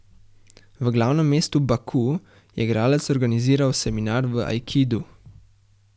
V glavnem mestu Baku je igralec organiziral seminar v aikidu.